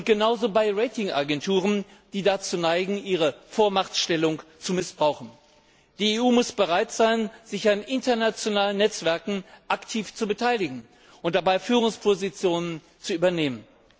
Genauso bei Rating Agenturen, die dazu neigen, ihre Vormachtstellung zu missbrauchen. Die EU muss bereit sein, sich an internationalen Netzwerken aktiv zu beteiligen und dabei Führungspositionen zu übernehmen.